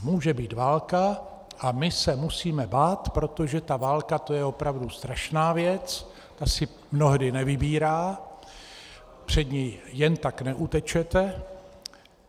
Může být válka a my se musíme bát, protože ta válka, to je opravdu strašná věc, ta si mnohdy nevybírá, před ní jen tak neutečete.